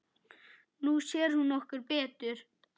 Nú sér hún okkur betur